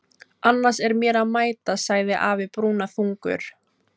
Annars er mér að mæta, sagði afi brúnaþungur.